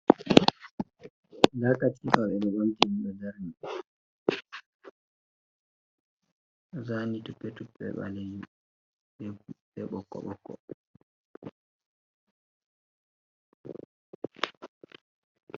Nda katifa ɓeɗo ɓamti ɓeɗo darni, ɗo zani tupe tupe ɓalejum be ɓokko ɓokko.